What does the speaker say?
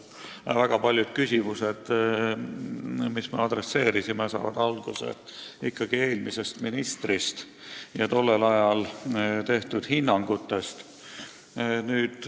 Väga paljud küsimused, mis me adresseerisime praegusele ministrile, on alguse saanud ikkagi eelmisest ministrist ja tollel ajal antud hinnangutest.